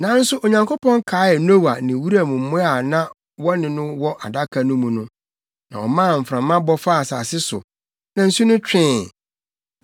Nanso Onyankopɔn kaee Noa ne wuram mmoa a na wɔne no wɔ Adaka no mu no, na ɔmaa mframa bɔ faa asase so, na nsu no twee.